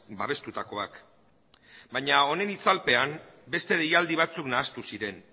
babestutakoak baina honen itzalpean beste deialdi batzuk nahastu ziren